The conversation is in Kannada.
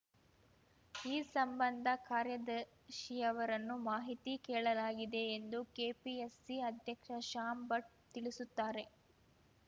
ಈ ಸಂಬಂಧ ಕಾರ್ಯದರ್ಶಿಯವರನ್ನು ಮಾಹಿತಿ ಕೇಳಲಾಗಿದೆ ಎಂದು ಕೆಪಿಎಸ್‌ಸಿ ಅಧ್ಯಕ್ಷ ಶ್ಯಾಮ್‌ ಭಟ್‌ ತಿಳಿಸುತ್ತಾರೆ